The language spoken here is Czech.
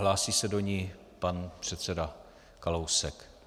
Hlásí se do ní pan předseda Kalousek.